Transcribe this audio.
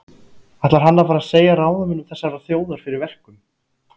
Ætlar hann að fara að segja ráðamönnum þessarar þjóðar fyrir verkum?